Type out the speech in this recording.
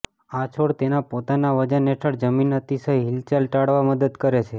આ છોડ તેના પોતાના વજન હેઠળ જમીન અતિશય હીલચાલ ટાળવા મદદ કરે છે